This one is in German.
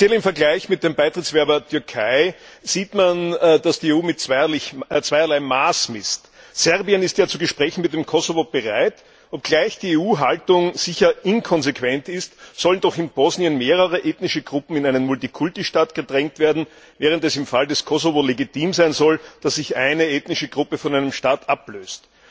Speziell im Vergleich mit dem Beitrittsbewerber Türkei sieht man, dass die EU mit zweierlei Maß misst. Serbien ist ja zu Gesprächen mit dem Kosovo bereit, obgleich die EU Haltung sicher inkonsequent ist, sollen doch in Bosnien mehrere ethnische Gruppen in einen Multikulti Staat gedrängt werden, während es im Fall des Kosovo legitim sein soll, dass sich eine ethnische Gruppe von einem Staat ablöst.